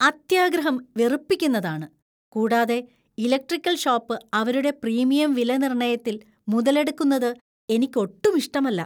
അത്യാഗ്രഹം വെറുപ്പിക്കുന്നതാണ് , കൂടാതെ ഇലക്ട്രിക്കൽ ഷോപ്പ് അവരുടെ പ്രീമിയം വിലനിർണ്ണയത്തിൽ മുതലെടുക്കുന്നത് എനിക്കൊട്ടും ഇഷ്ടമല്ല.